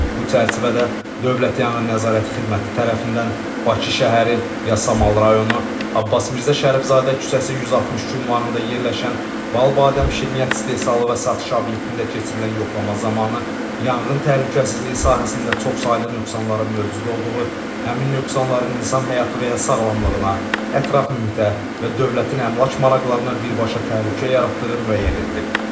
Bu çərçivədə Dövlət Yanğın Nəzarəti Xidməti tərəfindən Bakı şəhəri, Yasamal rayonu, Abbas Mirzə Şərifzadə küçəsi 162 ünvanında yerləşən Bal Badəm Şirniyyat istehsalı və satışı obyektində keçirilən yoxlama zamanı yanğın təhlükəsizliyi sahəsində çoxsaylı nöqsanların mövcud olduğu, həmin nöqsanların insan həyatı və ya sağlamlığına, ətraf mühitə və dövlətin əmlak maraqlarına birbaşa təhlükə yaratdığı müəyyən edilib.